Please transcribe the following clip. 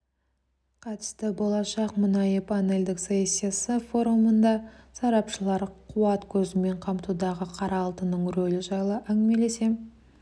қатысты болашақ мұнайы панельдік сессиясы форумында сарапшылар қуат көзімен қамтудағы қара алтынның рөлі жайлы әңгімелесе